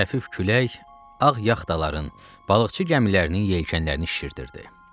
Xəfif külək ağ yaxtaların, balıqçı gəmilərinin yelkenlərini şişirdirdi.